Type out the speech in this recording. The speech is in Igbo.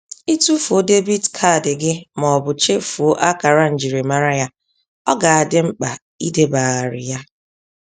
Itụfuo debit card gị mọbụ chefuoo akara njirimara ya, ọ ga-adị mkpa ideba gharị ya.